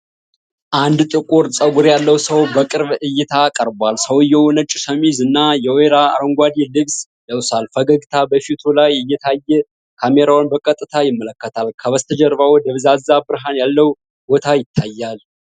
አንድ ጥቁር ፀጉር ያለው ሰው በቅርብ እይታ ቀርቧል። ሰውዬው ነጭ ሸሚዝ እና የወይራ አረንጓዴ ልብስ ለብሷል። ፈገግታ በፊቱ ላይ እየታየ ካሜራውን በቀጥታ ይመለከታል። ከበስተጀርባው ደብዛዛ ብርሃን ያለበት ቦታ ይታያል።